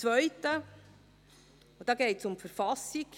Die zweite, da geht es um die Verfassung.